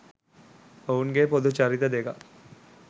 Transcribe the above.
ඔවුන්ගේ පොදු චරිත දෙකක්